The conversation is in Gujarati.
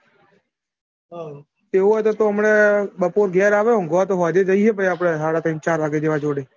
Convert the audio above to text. હાઉ એવું હોય તો તું હમણાં બપોરે ઘેર આવે ઊંઘવા તો સોજે જઈએ આપડે સાડા તૈન ચાર વાગે જોડે.